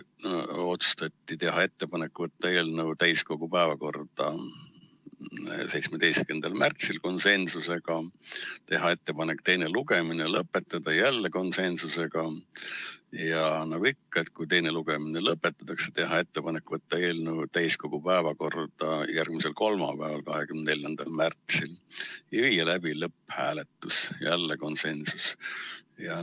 Otsustati teha ettepanek võtta eelnõu täiskogu päevakorda 17. märtsil , teha ettepanek teine lugemine lõpetada ja nagu ikka, kui teine lugemine lõpetatakse, teha ettepanek võtta eelnõu täiskogu päevakorda järgmisel kolmapäeval, 24. märtsil ja viia läbi lõpphääletus .